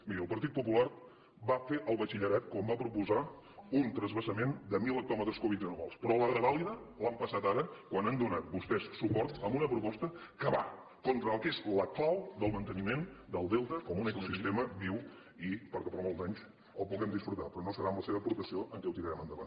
miri el partit popular va fer el batxillerat quan va proposar un transvasament de mil hectòmetres cúbics anuals però la revàlida l’han passada ara quan han donat vostès suport a una proposta que va contra el que és la clau del manteniment del delta com un ecosistema viu i perquè per molts anys el puguem disfrutar però no serà amb la seva aportació que ho tirarem endavant